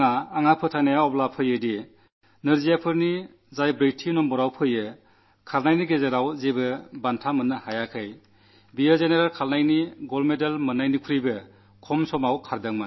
ഇത്രമാത്രമല്ല ഓട്ടക്കാരനെന്ന നിലയിൽ നാലാം സ്ഥാനത്തെത്തി മെഡൽ നേടാതെ പോയ ആൾപോലും പൊതു ഒളിമ്പിക്സിലെ സ്വർണ്ണം നേടിയ ആളിനെക്കാൾ കുറച്ചു സമയം കൊണ്ട് ഓടി എന്നതിലാണ് എനിക്ക് ആശ്ചര്യം തോന്നിയത്